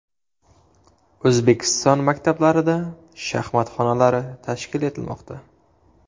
O‘zbekiston maktablarida shaxmat xonalari tashkil etilmoqda.